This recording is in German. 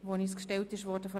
SVP/ Guggisberg ab.